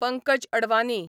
Pankaj Advani